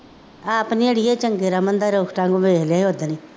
ਆਪ ਨਹੀਂ ਅੜੀਏ ਚੰਗੇ, ਰਮਨ ਦਾ ਰੁੱਸਦਾ ਮੂੰਹ ਵੇਖ ਲਿਆ ਸੀ ਉਹ ਦਿਨ